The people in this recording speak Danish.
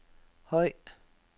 høj